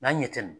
N'an ɲɛ tɛ